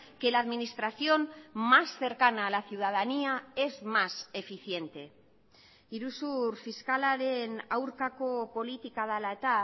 que la administración más cercana a la ciudadanía es más eficiente iruzur fiskalaren aurkako politika dela eta